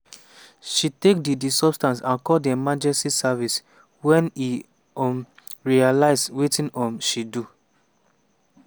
she take di di substance and call di emergency services wen e um realise wetin um she do.